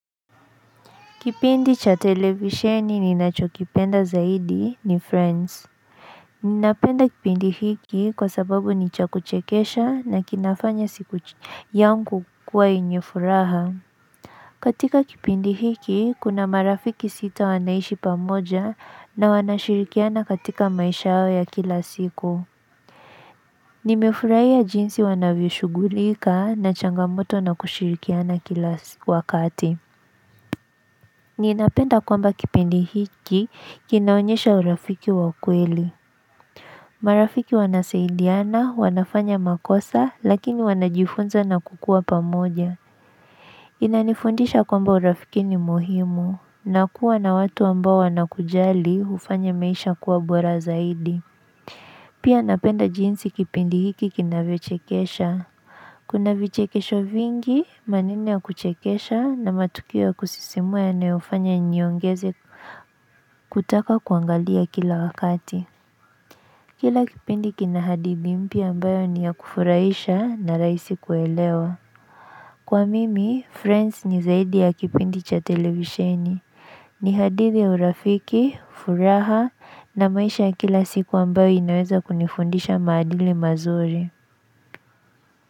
Kipindi cha televisheni ninachokipenda zaidi ni Friends. Ninapenda kipindi hiki kwa sababu ni cha kuchekesha na kinafanya siku yangu kuwa yenye furaha. Katika kipindi hiki kuna marafiki sita wanaishi pamoja na wanashirikiana katika maisha yao ya kila siku. Nimefurahia jinsi wanavyoshughulika na changamoto na kushirikiana kila wakati. Ninapenda kwamba kipendi hiki kinaonyesha urafiki wa kweli. Marafiki wanasaidiana, wanafanya makosa lakini wanajifunza na kukuwa pamoja. Inanifundisha kwamba urafiki ni muhimu. Na kuwa na watu ambao wanakujali hufanya maisha kuwa bora zaidi. Pia napenda jinsi kipindi hiki kinavyochekesha. Kuna vichekesho vingi, maneno ya kuchekesha na matukio ya kusisimua yanayofanya niongeze kutaka kuangalia kila wakati. Kila kipindi kina hadithi mpya ambayo ni ya kufurahisha na rahisi kuelewa. Kwa mimi, friends ni zaidi ya kipindi cha televisheni. Ni hadithi ya urafiki, furaha na maisha kila siku ambayo inaweza kunifundisha maadili mazuri.